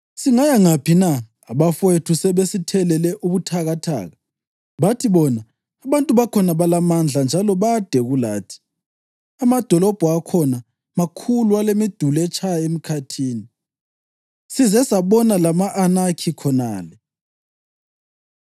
Singaya ngaphi na? Abafowethu sebesithelele ubuthakathaka. Bathi bona, “Abantu bakhona balamandla njalo bade kulathi; amadolobho akhona makhulu, alemiduli etshaya emkhathini. Size sabona lama-Anakhi khonale.” ’